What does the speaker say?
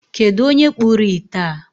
Kedụ onye kpụrụ ite a?